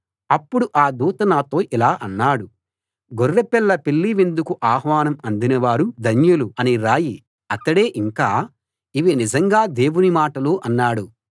అప్పుడు ఆ దూత నాతో ఇలా అన్నాడు గొర్రెపిల్ల పెళ్ళి విందుకు ఆహ్వానం అందినవారు ధన్యులు అని రాయి అతడే ఇంకా ఇవి నిజంగా దేవుని మాటలు అన్నాడు